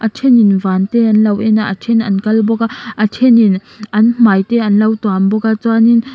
a thenin van te an lo en a a then an kal bawk a a thenin an hmai te an lo tuam bawk a chuanin--